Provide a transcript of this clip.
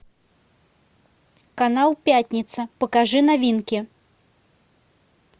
канал пятница покажи новинки